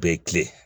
U bɛ tilen